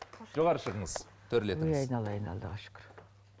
жоғары шығыңыз төрлетіңіз айналайын аллаға шүкір